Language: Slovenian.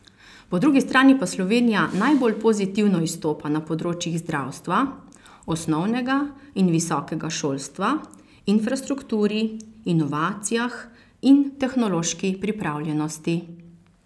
Po drugi strani pa Slovenija najbolj pozitivno izstopa na področjih zdravstva, osnovnega in visokega šolstva, infrastrukturi, inovacijah in tehnološki pripravljenosti.